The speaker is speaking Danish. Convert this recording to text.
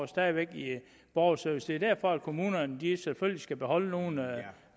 stadig væk i borgerservice det er derfor at kommunerne selvfølgelig skal beholde nogle